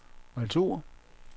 retur